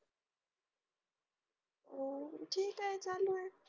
हम्म जे काय चालय